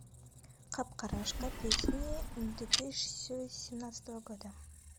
капкарашка песни две тысячи семнадцатого года